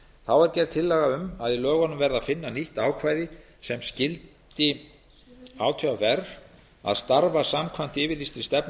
þá er gerð tillaga um að í lögunum verði að finna nýtt ákvæði sem skyldi átvr að starfa samkvæmt yfirlýstri stefnu